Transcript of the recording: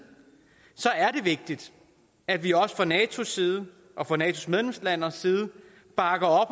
er det vigtigt at vi også fra natos side og fra natos medlemslandes side bakker